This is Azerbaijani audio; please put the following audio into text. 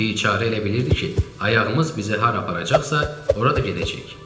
Biçarə elə bilirdi ki, ayağımız bizi hara aparacaqsa, ora da gedəcəyik.